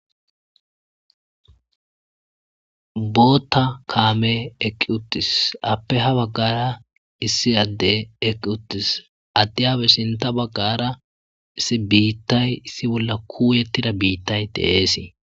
Bootta kaamey eqqi uttis ape ha baggaara issi addey eqqi uttis addiyape sinta baggaara issi biittay issi bolla kuuyettida biitay de7eesi